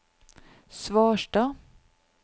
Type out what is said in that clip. Svarstad